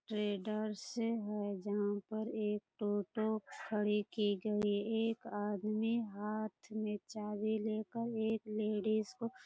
traders है जहाँ पर एक टोटो खड़ी की गई एक आदमी हाथ में चाबी लेकर एक लेडीज़ को --